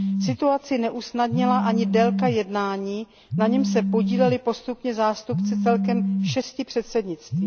Situaci neusnadnila ani délka jednání, na němž se podíleli postupně zástupci celkem šesti předsednictví.